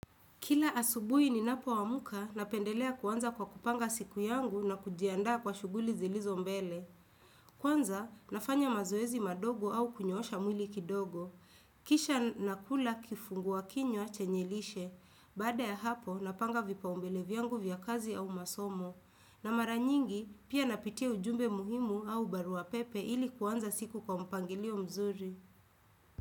Kila asubui ninapoamka ninapendelea kuanza kwa kupanga siku yangu na kujiandaa kwa shughuli zilizo mbele. Kwanza ninafanya mazoezi madogo au kunyoosha mwili kidogo. Kisha ninakula kifungua kinywa chenye lishe. Baada ya hapo ninapanga vipaombele vyangu vya kazi au masomo. Na mara nyingi pia ninapitia ujumbe muhimu au barua pepe ili kuanza siku kwa mpangilio mzuri.